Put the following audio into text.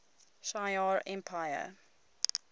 shi ar empire